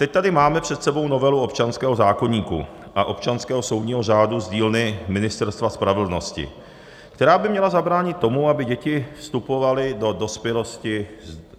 Teď tady máme před sebou novelu občanského zákoníku a občanského soudního řádu z dílny Ministerstva spravedlnosti, která by měla zabránit tomu, aby děti vstupovaly do dospělosti s dluhy.